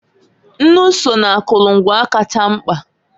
Nnụ so n'akụlụ ngwa kacha mkpa.